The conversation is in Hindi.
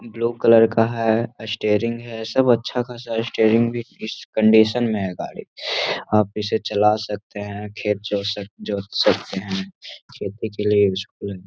ब्लू कलर का है स्टेरिंग है सब अच्छा खासा इस कंडीशन में है गाड़ी आप इसे चला सकते हैं खेत जोत जोत सकते हैं।